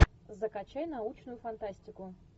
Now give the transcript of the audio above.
закачай научную фантастику